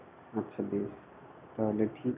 আছে বেশ তাহলে ঠিক.